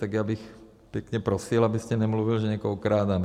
Tak já bych pěkně prosil, abyste nemluvil, že někoho okrádáme.